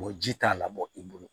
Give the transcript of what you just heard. O ji t'a labɔ i bolo